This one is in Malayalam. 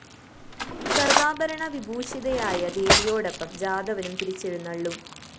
സര്‍വാഭരണ വിഭൂഷിതയായ ദേവിയോടൊപ്പം ജാതവനും തിരിച്ചെഴുന്നള്ളും